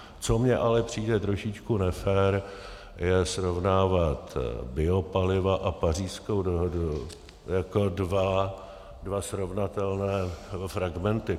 Co mi ale přijde trošičku nefér, je srovnávat biopaliva a Pařížskou dohodu jako dva srovnatelné fragmenty.